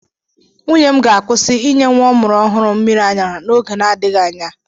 Nwunye m ga-akwụsị ịnye nwa ọ mụrụ ọhụrụ mmịrị ara n'oge na-adịghị anya.